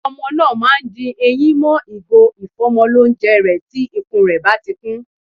Ọmọ náà ma di eyín mọ́ ìgò ìfọ́mọlónjẹ rẹ̀ tí ikún rẹ̀ báti kún.